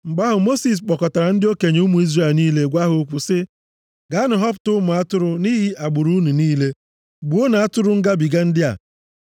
Mgbe ahụ, Mosis kpọkọtara ndị okenye ụmụ Izrel niile gwa ha okwu sị, “Gaanụ họpụta ụmụ atụrụ nʼihi agbụrụ unu niile, gbuonụ atụrụ ngabiga ndị a.